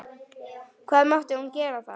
Hvað mátti hún þá gera?